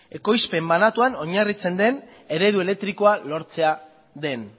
ekoizpen banatuan oinarritzen den eredu elektrikoa lortzea den